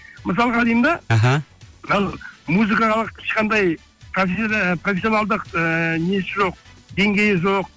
мысалға деймін де іхі музыкалық ешқандай профессионалдық ыыы несі жоқ деңгейі жоқ